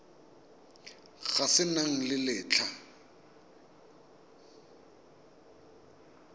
se se nang le letlha